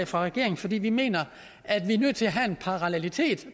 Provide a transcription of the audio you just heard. fra regeringen fordi vi mener at vi er nødt til at have en parallelitet